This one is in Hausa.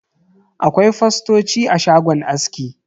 Akwai fostoci a shagon aski.